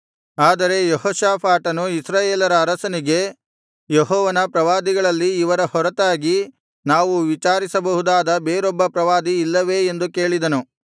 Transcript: ಆದರೆ ಯೆಹೋಷಾಫಾಟನು ಇಸ್ರಾಯೇಲರ ಅರಸನಿಗೆ ಯೆಹೋವನ ಪ್ರವಾದಿಗಳಲ್ಲಿ ಇವರ ಹೊರತಾಗಿ ನಾವು ವಿಚಾರಿಸಬಹುದಾದ ಬೇರೊಬ್ಬ ಪ್ರವಾದಿ ಇಲ್ಲವೇ ಎಂದು ಕೇಳಿದನು